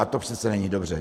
A to přece není dobře.